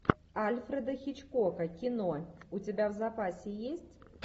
альфреда хичкока кино у тебя в запасе есть